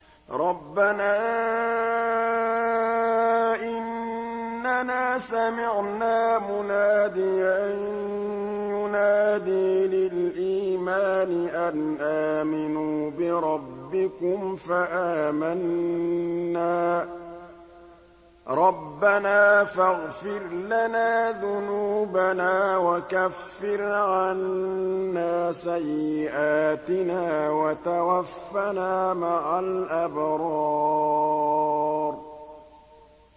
رَّبَّنَا إِنَّنَا سَمِعْنَا مُنَادِيًا يُنَادِي لِلْإِيمَانِ أَنْ آمِنُوا بِرَبِّكُمْ فَآمَنَّا ۚ رَبَّنَا فَاغْفِرْ لَنَا ذُنُوبَنَا وَكَفِّرْ عَنَّا سَيِّئَاتِنَا وَتَوَفَّنَا مَعَ الْأَبْرَارِ